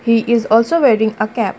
he is also wearing a cap.